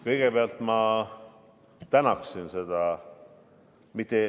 Kõigepealt ma tänaksin seda ...